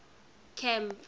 camp